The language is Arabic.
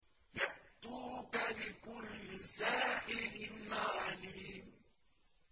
يَأْتُوكَ بِكُلِّ سَاحِرٍ عَلِيمٍ